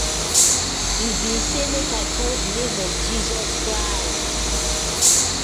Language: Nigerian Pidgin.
e bin say make i call di name of jesus christ